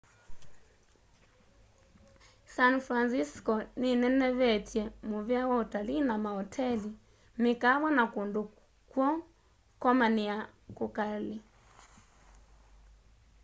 san francisco ninenevetye muvea wa utalii na maoteli mikaawa na kundu kwo komania kukali